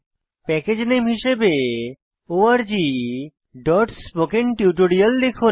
package নামে হিসাবে orgস্পোকেন্টিউটোরিয়াল লিখুন